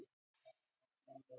Ragna stóð vel í þeirri næstbestu